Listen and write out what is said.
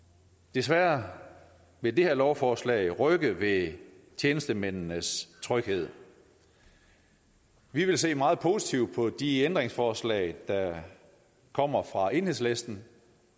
desværre vil det her lovforslag rykke ved tjenestemændenes tryghed vi vil se meget positivt på de ændringsforslag der kommer fra enhedslisten